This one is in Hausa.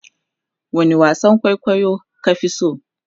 wani wasan kwaikwayo ka Fi so?